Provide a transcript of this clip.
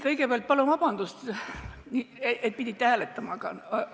Kõigepealt palun vabandust, et pidite hääletama!